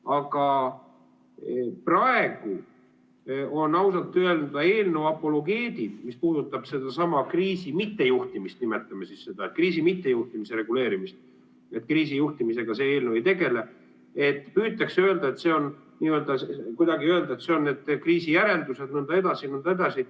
Aga praegu ausalt öelda eelnõu apologeedid püüavad öelda – mis puudutab sedasama kriisi mittejuhtimist, nimetame siis nii, kriisi mittejuhtimise reguleerimist, kriisijuhtimisega see eelnõu ei tegele –, et need on kriisi järeldused jne, jne.